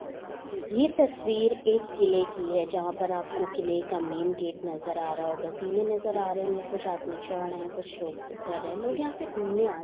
यह तस्वीर एक किले की है जहां पर आपको किले का मैन गेट नजर आ रहा होगा सीने नज़र आ रहा होगे कुछ आदमी चढ़ रहे हैं कुछ लोग उतर रहे हैं लोग यहाँ पे घूमने--